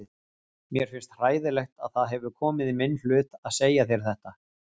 Mér finnst hræðilegt að það hefur komið í minn hlut að segja þér þetta.